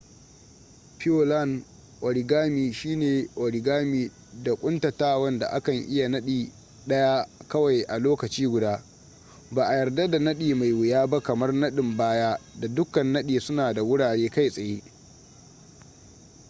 pureland origami shi ne origami da ƙuntatawan da akan iya nadi daya kawai a lokaci guda ba a yarda da nadi mai wuya ba kamar nadin baya da dukkan nadi suna da wurare kai tsaye